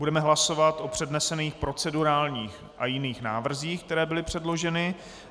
Budeme hlasovat o přednesených procedurálních a jiných návrzích, které byly předloženy.